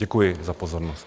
Děkuji za pozornost.